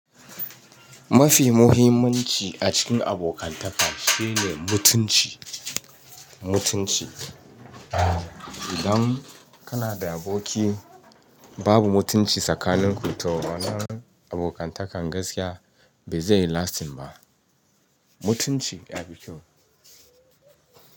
Mafi muhimmanci a cikin abokantaka shine mutunci, mutunci. Idan kana da aboki babu mutunci tsakaninku toh ma'ana abokantakan gaskiya beze yi lasting ba. Mutunci ya fi kyau.